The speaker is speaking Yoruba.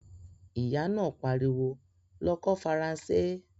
Ìyá náà pariwo, "lọ kọ́ Faransé"!